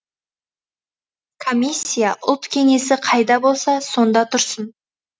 комиссия ұлт кеңесі қайда болса сонда тұрсын